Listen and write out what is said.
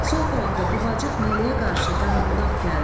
Sol tərəfdə buğacıq məliyə qarşı Qarabudaq gəldi.